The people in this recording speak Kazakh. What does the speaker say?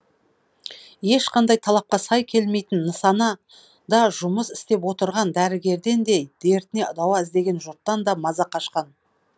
ешқандай талапқа сай келмейтін нысана да жұмыс істеп отырған дәрігерден де дертіне дауа іздеген жұрттан да маза қашқан